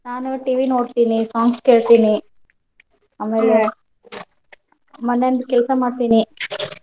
ನಾನು TV ನೋಡ್ತೀನಿ songs ಕೇಳ್ತೀನಿ ಮನೇಲಿ ಕೆಲ್ಸಾ ಮಾಡ್ತೀನಿ.